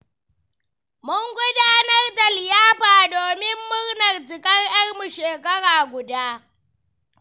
Mun gudanar da liyafa domin murnar cikar 'yarmu shekara guda.